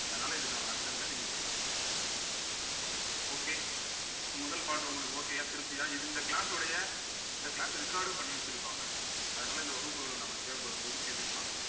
அதனால இதுக்கான அர்த்தங்கள நீங்க தெரிஞ்சுக்கோங்க okay so முதல் பாட்டு உங்களுக்கு okay யா திருப்தியா இது இந்த class உடைய இந்த class record டும் பண்ணி வச்சிருப்பாங்க அதனால இந்த வகுப்புகள்ல நம்ம தேவைப்படும்போது கேட்டுக்கலாம்